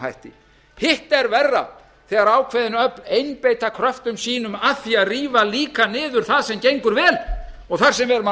hætti hitt er verra þegar ákveðin öfl einbeita kröftum sínum að því að rífa líka niður það sem gengur vel og þar sem við erum að